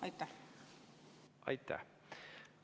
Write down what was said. Aitäh!